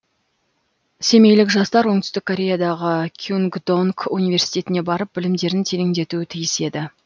семейлік жастар оңтүстік кореядағы кюнгдонг университетіне барып білімдерін тереңдетуі тиіс еді